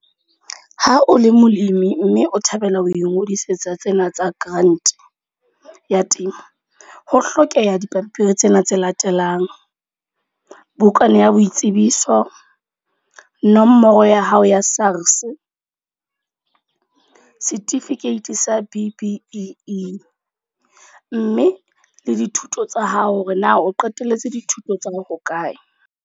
Ha o le molemi mme o thabela ho ingodisetsa tsena tsa grant, ya temo. Ho hlokeha dipampiri tsena tse latelang. Bukana ya boitsebiso, nomoro ya hao ya SARS, certificate sa B_B_E. Mme le dithuto tsa hao, hore na o qetelletse dithuto tsa hao hokae.